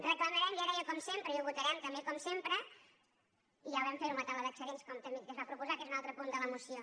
reclamarem ja deia com sempre i ho votarem també com sempre i ja vam fer ho amb la taula d’excedents com també es va proposar que és un altre punt de la moció